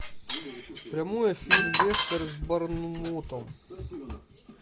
прямой эфир лестер с борнмутом